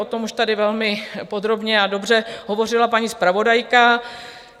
O tom už tady velmi podrobně a dobře hovořila paní zpravodajka.